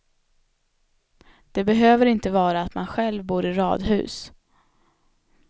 Det behöver inte vara att man själv bor i radhus.